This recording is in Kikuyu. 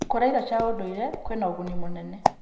Kũrĩa irio cia ndũire kwĩna ũguni mũnene.